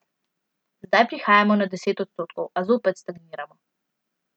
Zdaj prihajamo na deset odstotkov, a zopet stagniramo.